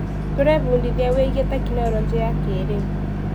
Tũrebundithia wĩgiĩ tekinoronjĩ ya kĩrĩu.